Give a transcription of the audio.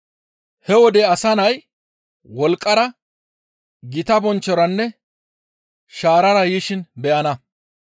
He wode Asa Nay wolqqara, gita bonchchoranne shaarara yishin beyana.